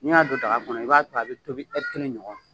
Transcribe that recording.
Ni y'a don daga kɔnɔ, i b'a to yen, a bi tobi kelen ɲɔgɔn